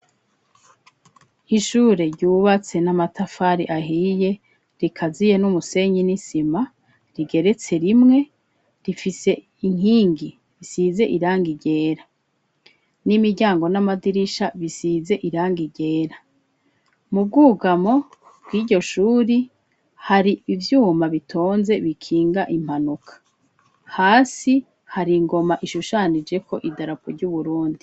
Ishure ryubatse n'amatafari ahiye rikaziye n'umusenyi n'isima rigeretse rimwe rifise inkingi bisize iranga igera n'imiryango n'amadirisha bisize iranga igera mubwugamo bw'iryo shuri hari ivyuma bitonze bikinga impanuka hasi hari ingoma ishushanijeko idarapu ry'uburundi.